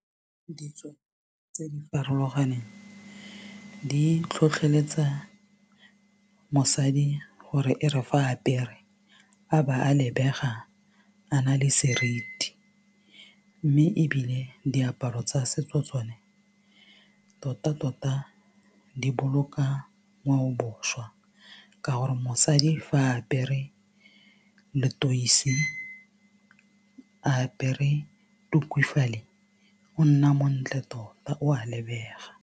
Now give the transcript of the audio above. Ditso tse di farologaneng di tlhotlheletsa mosadi gore e re fa apere a ba a lebega a na le seriti mme ebile diaparo tsa setso tsone tota tota di boloka ngwaobošwa ka gore mosadi fa apere letoise a apere tuku fale o nna montle tota o a lebega.